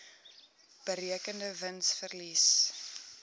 berekende wins verlies